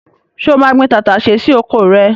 Ṣé o máa gbin tàtàṣé sí oko rẹ?